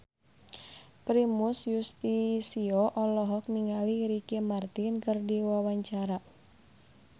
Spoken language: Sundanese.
Primus Yustisio olohok ningali Ricky Martin keur diwawancara